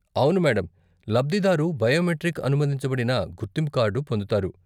అవును మేడం! లబ్దిదారు బయోమెట్రిక్ అనుమతించబడిన గుర్తింపు కార్డు పొందుతారు.